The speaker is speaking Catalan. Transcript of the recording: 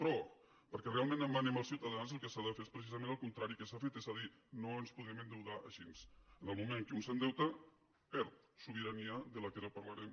però perquè realment manem els ciutadans el que s’ha de fer és precisament el contrari del que s’ha fet és a dir no ens podem endeutar així en el moment en què un s’endeuta perd sobirania de què ara parlarem